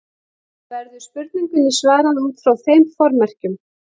Verður spurningunni svarað út frá þeim formerkjum.